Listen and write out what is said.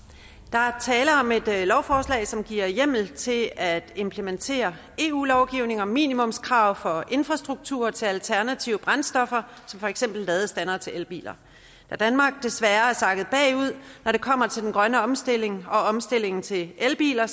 er tale om et lovforslag som giver hjemmel til at implementere eu lovgivning om minimumskrav for infrastruktur til alternative brændstoffer som for eksempel ladestandere til elbiler da danmark desværre er sakket bagud når det kommer til den grønne omstilling og omstillingen til elbiler